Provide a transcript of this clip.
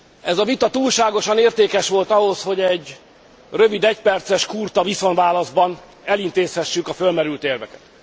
Ez a vita túlságosan értékes volt ahhoz, hogy egy rövid, egyperces kurta viszontválaszban elintézhessük a fölmerült érveket.